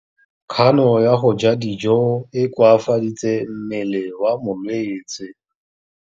Kganô ya go ja dijo e koafaditse mmele wa molwetse.